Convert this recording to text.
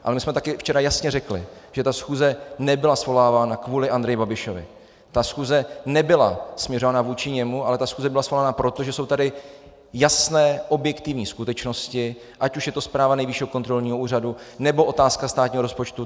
Ale my jsme taky včera jasně řekli, že ta schůze nebyla svolávána kvůli Andreji Babišovi, ta schůze nebyla směřována vůči němu, ale ta schůze byla svolána proto, že jsou tady jasné, objektivní skutečnosti, ať už je to zpráva Nejvyššího kontrolního úřadu, nebo otázka státního rozpočtu.